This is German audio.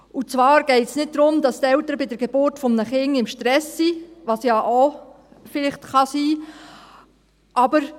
Und zwar geht es nicht darum, dass die Eltern bei der Geburt eines Kindes im Stress sind, was ja vielleicht auch sein kann.